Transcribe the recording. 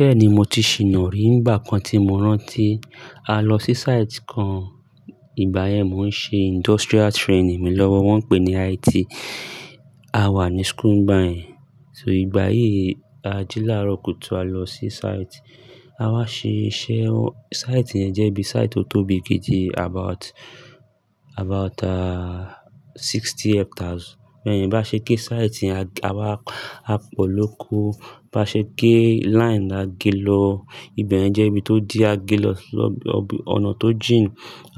Bẹ́ẹ̀ni mo ti ṣì nàrí nígbà kan tí mo rántí, a lọ sí site kan ìgbà yẹn mò ń ṣe industrial training mi lọ́wọ́ wọ́n pé ní IT. A wà ní school nígbà yẹn, so ìgbà yí a jí láàárọ̀ kùtù a lọ sí site, a wá ṣe iṣẹ́, site yẹn jẹ́ bí site tó tóbi gidi about, about sixty hectares. Bẹ́ẹ̀ni bá ṣe de site ni a wá, a pọ̀ lóko, bá ṣe gé line la gé lọ, ibẹ̀ yẹn jẹ́ ibi tó di a gé lọ ọ̀nà tó jìn,